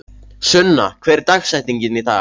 Sunna, hver er dagsetningin í dag?